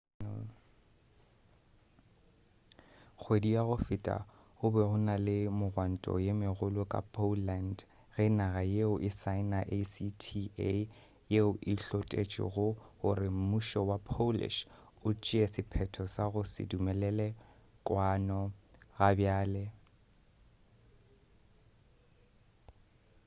kgwedi ya go feta go be go na le megwanto ye megolo ka poland ge naga yeo e saena acta yeo e hlotešego gore mmušo wa polish o tšee sephetho sa go se dumelele kwano gabjale